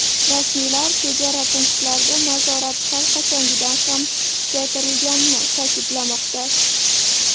Rasmiylar chegara punktlarida nazorat har qachongidan ham kuchaytirilganini ta’kidlamoqda.